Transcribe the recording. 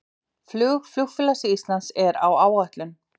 Flug Flugfélags Íslands er á áætlun